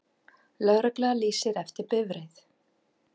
Lögregla lýsir eftir bifreið